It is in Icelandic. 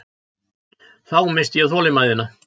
Þá missti ég þolinmæðina.